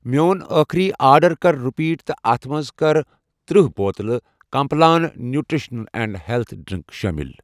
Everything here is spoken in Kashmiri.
میٚون أٔخری آرڈر کر رِپیٖٹ تہٕ اتھ مَنٛز کر تٔرہ بوتلہٕ Complan nutrition and health drink شٲمِل